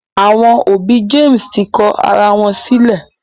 Àwọn òbí James tí kò àrà wón sílè.